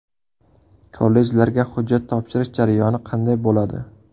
Kollejlarga hujjat topshirish jarayoni qanday bo‘ladi?